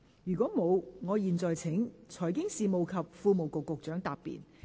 如果沒有，我現在請財經事務及庫務局局長答辯。